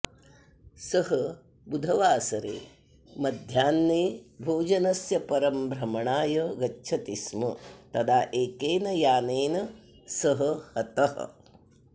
सः बुधवासरे मध्याह्ने भोजनस्य परं भ्रमणाय गच्छति स्म तदा एकेन यानेन सः हतः